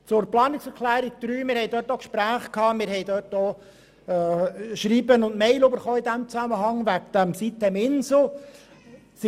Zu Planungserklärung 3: Wir haben Gespräche geführt und haben in diesem Zusammenhang auch Schreiben betreffend sitem-insel erhalten.